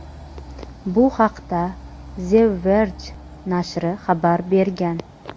Bu haqda "The Verge" nashri xabar bergan.